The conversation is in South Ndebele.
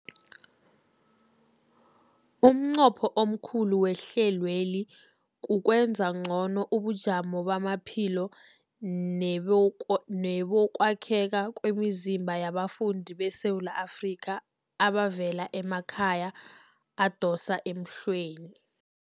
Umnqopho omkhulu wehlelweli kukwenza ngcono ubujamo bamaphilo nebokwakhela kwemizimba yabafundi beSewula Afrika abavela emakhaya adosa emhlweni.